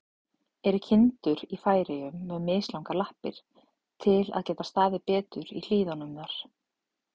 Eru kindur í Færeyjum með mislangar lappir, til að geta staðið betur í hlíðunum þar?